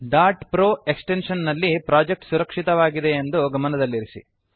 pro extension ನಲ್ಲಿ project ಸುರಕ್ಷಿತವಾಗಿದೆಯೆಂದು ಗಮನದಲ್ಲಿರಲಿ